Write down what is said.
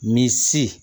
Ni si